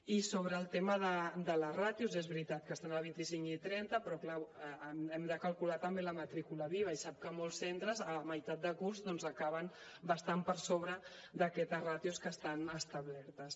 i sobre el tema de les ràtios és veritat que estan al vint cinc i trenta però clar hem de calcular també la matrícula viva i sap que molts centres a meitat de curs acaben bastant per sobre d’aquestes ràtios que estan establertes